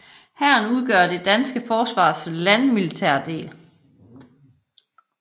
Hæren udgør det danske forsvars landmilitære del